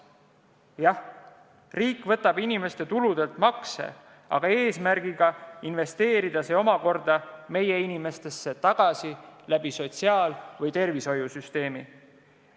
Jah, riik võtab inimeste tuludelt makse, aga eesmärgiga investeerida see meie inimestesse sotsiaal- ja tervishoiusüsteemi kaudu.